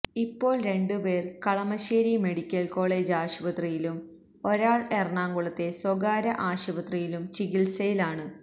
ഇപ്പോള് രണ്ടുപേര് Kalamassery medical college ആശുപത്രിയിലും ഒരാള് എറണാകുളത്തെ സ്വകാര്യ ആശുപത്രിയിലും ചികിത്സയിലാണ്